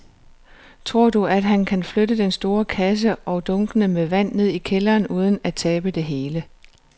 Tror du, at han kan flytte den store kasse og dunkene med vand ned i kælderen uden at tabe det hele?